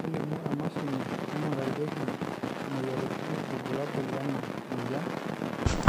kelimu emashini naingurarieki imoyiaritin irbulabol lena moyian